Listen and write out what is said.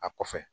A kɔfɛ